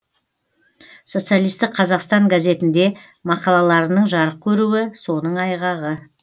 социалистік қазақстан газетінде мақалаларының жарық көруі соның айғағы